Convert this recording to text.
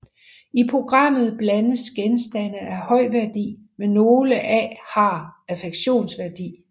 I programmet blandes genstande af høj værdi med nogle af har affektionsværdi